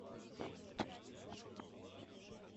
фильм две тысячи двадцатого года